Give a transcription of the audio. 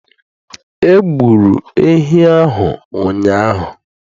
Egburu ehi ahụ ụnyahụ